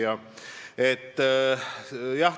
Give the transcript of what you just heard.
Hea küsija!